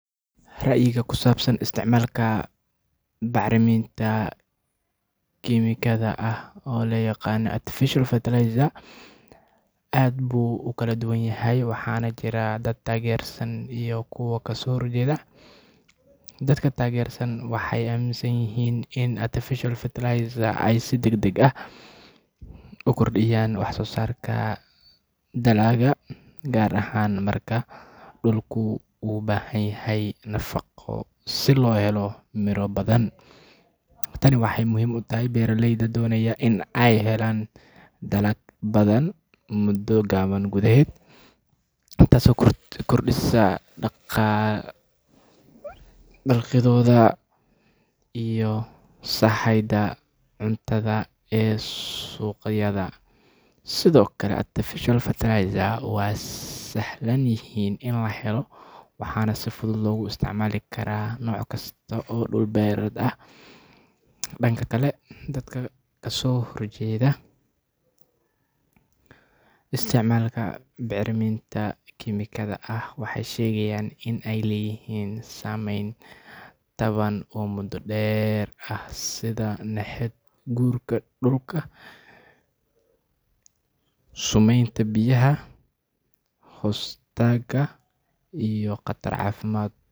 Ra’yiga ku saabsan isticmaalka bacriminta kiimikada ah ee loo yaqaan artificial fertilizers aad buu u kala duwan yahay, waxaana jira dad taageersan iyo kuwo kasoo horjeeda. Dadka taageersan waxay aaminsan yihiin in artificial fertilizers ay si degdeg ah u kordhiyaan wax-soosaarka dalagga, gaar ahaan marka dhulku u baahanyahay nafaqo si loo helo miro badan. Tani waxay muhiim u tahay beeraleyda doonaya in ay helaan dalag badan muddo gaaban gudaheed, taasoo kordhisa dakhligooda iyo sahayda cuntada ee suuqyada. Sidoo kale, artificial fertilizers waa sahlan yihiin in la helo, waxaana si fudud loogu isticmaali karaa nooc kasta oo dhul beereed ah. Dhanka kale, dadka kasoo horjeeda isticmaalka bacriminta kiimikada ah waxay sheegaan in ay leeyihiin saameyn taban oo muddo dheer ah sida nabaad guurka dhulka, sumeynta biyaha hoostaga, iyo khatar caafimaad.